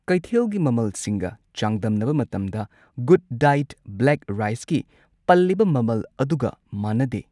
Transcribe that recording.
ꯀꯩꯊꯦꯜꯒꯤ ꯃꯃꯜꯁꯤꯡꯒ ꯆꯥꯡꯗꯝꯅꯕ ꯃꯇꯝꯗ ꯒꯨꯗꯗꯥꯏꯠ ꯕ꯭ꯂꯦꯛ ꯔꯥꯏꯁꯀꯤ ꯄꯜꯂꯤꯕ ꯃꯃꯜ ꯑꯗꯨꯒ ꯃꯥꯟꯅꯗꯦ꯫